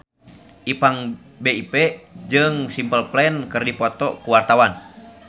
Ipank BIP jeung Simple Plan keur dipoto ku wartawan